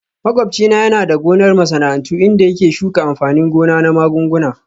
Makwabci na yana da gonar masana'antu inda yake shuka amfanin gona na magunguna